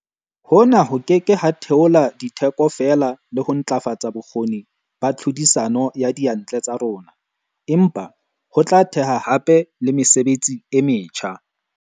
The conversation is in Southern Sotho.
Hona ho ke ke ha theola ditheko fela le ho ntlafatsa bokgoni ba tlhodisano ya diyantle tsa rona, empa ho tla theha hape le mesebetsi e metjha.